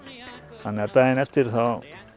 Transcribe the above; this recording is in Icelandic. þannig að daginn eftir